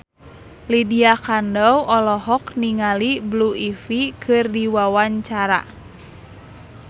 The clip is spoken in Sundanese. Lydia Kandou olohok ningali Blue Ivy keur diwawancara